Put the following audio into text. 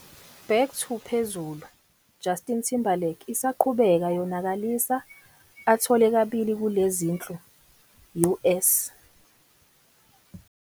Back to - phezulu "Justin Timberlake isaqhubeka yonakalisa, athole kabili kule zinhlu US."